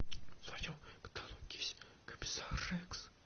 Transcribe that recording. в твоем каталоге есть комиссар рекс